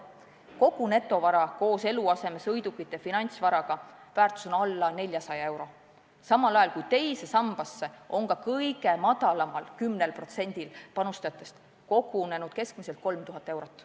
Kogu netovara – eluase, sõidukid, finantsvara – väärtus on alla 400 euro, samal ajal kui teise sambasse on ka tollel kõige vaesemal 10%-l panustajatest kogunenud keskmiselt 3000 eurot.